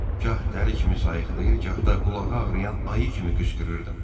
Gah dəli kimi sayıqlayır, gah da qulağı ağrıyan ayı kimi qışqırırdım.